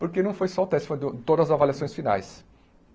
Porque não foi só o teste, foram to todas as avaliações finais.